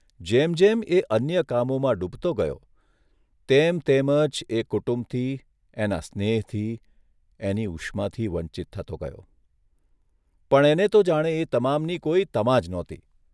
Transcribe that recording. જેમ જેમ એ અન્ય કામોમાં ડૂબતો ગયો તેમ તેમજ એ કુટુંબથી એના સ્નેહથી, એની ઉષ્માથી વંચિત થતો ગયો, પણ એને તો જાણે એ તમામની કોઇ તમા જ નહોતી !